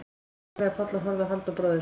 öskraði Páll og horfði á Halldór bróður sinn.